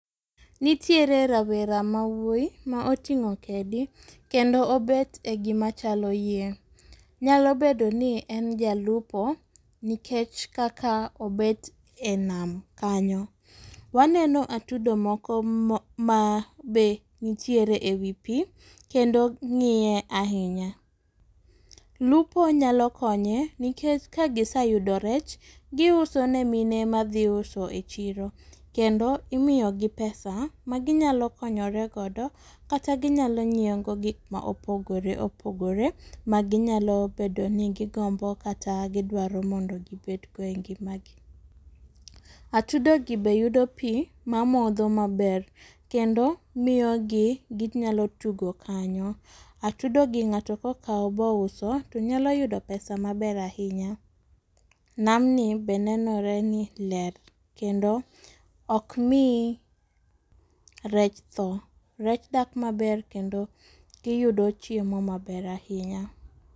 Nitiere rawera ma wuoyi ma oting'o kedi kendo gibet egima chalo yien. Nyalo bedo ni en jalupo nikech kaka obet e nam kanyo. Waneno atudo moko ma be ntiere ewi pii kendo ng'iye ahinya. Lupo nyalo konye nikech ka giseyudo rech, giuso ne mine madhi uso e chiro kendo imiyo gi pesa ma ginyalo konyore godo kata ginyalo nyiewo go gik mopogore opogore ma ginyalo bedo ni gigombo kata gidwaro mondo gibed go e ngima gi. Atudo gi be yudo pii mamodho maber kendo miyo gi ginyalo tugo kanyo atudo gi ng'ato kokawo bouso to nyalo yudo pesa maber ahinya. Nam ni be nenore ni ler kendo ok mii rech tho, rech dak maber kendo giyudo chiemo maber ahinya.